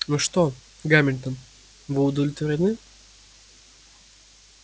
ну что гамильтон вы удовлетворены